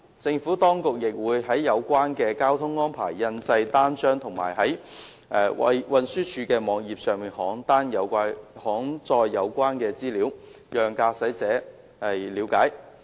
政府當局亦會就有關的交通安排印製單張，以及在運輸署網頁登載有關資料，讓駕駛者了解。